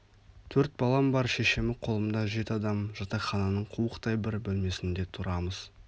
төрт балам бар шешемі қолымда жеті адам жатақхананың қуықтай бір бөлмесінде тұрамыз